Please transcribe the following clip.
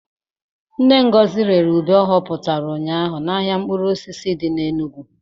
Nne Ngozi rere ube ọ ghotara ụnyaahụ n'ahịa mkpụrụ osisi dị n'Enugu.